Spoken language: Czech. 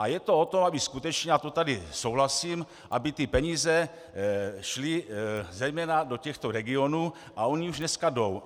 A je to od toho, aby skutečně, a to tady souhlasím, aby ty peníze šly zejména do těchto regionů, a ony už dneska jdou.